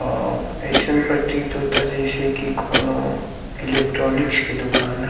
आइसन प्रतीत होता जैसे कोई एलेक्ट्रोनिक के दुकान ह--